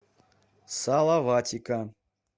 салаватика